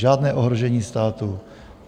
Žádné ohrožení státu.